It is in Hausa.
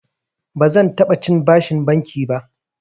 Bazan taɓa cin bashin banki ba.